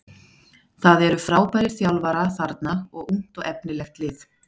Það eru frábærir þjálfara þarna og ungt og efnilegt lið.